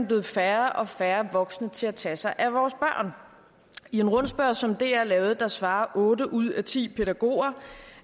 blevet færre og færre voksne til at tage sig af vores børn i en rundspørge som dr lavede svarede otte ud af ti pædagoger